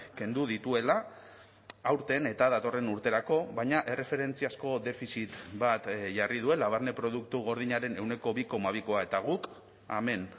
kendu dituela aurten eta datorren urterako baina erreferentziazko defizit bat jarri duela barne produktu gordinaren ehuneko bi koma bikoa eta guk hemen